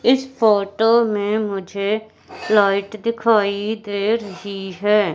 इस फोटो में मुझे लाइट दिखाई दे रही है।